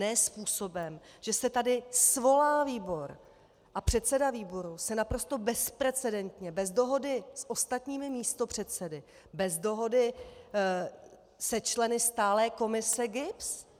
Ne způsobem, že se tady svolá výbor a předseda výboru se naprosto bezprecedentně, bez dohody s ostatními místopředsedy, bez dohody se členy stálé komise GIBS.